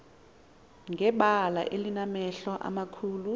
ngebala enamehlo amakhulu